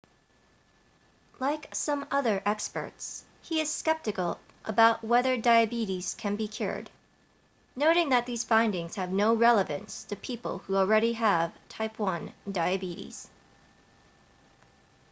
like some other experts he is skeptical about whether diabetes can be cured noting that these findings have no relevance to people who already have type 1 diabetes